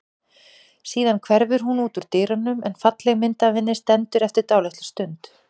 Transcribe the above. Síðan hverfur hún út úr dyrunum en falleg mynd af henni stendur eftir dálitla stund.